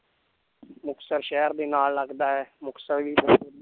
ਮੁਕਤਸਰ ਸ਼ਹਿਰ ਵੀ ਨਾਲ ਲੱਗਦਾ ਹੈ ਮੁਕਤਸਰ ਵੀ